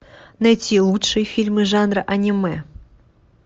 найти лучшие фильмы жанра аниме